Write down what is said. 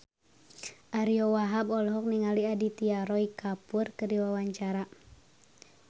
Ariyo Wahab olohok ningali Aditya Roy Kapoor keur diwawancara